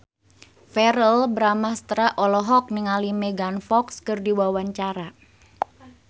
Verrell Bramastra olohok ningali Megan Fox keur diwawancara